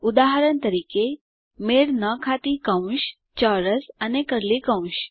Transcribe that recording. ઉદાહરણ તરીકે160 મેળ ન ખાતી કૌંસ ચોરસ અને કર્લી કૌંસ